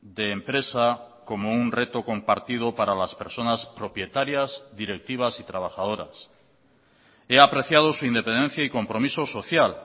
de empresa como un reto compartido para las personas propietarias directivas y trabajadoras he apreciado su independencia y compromiso social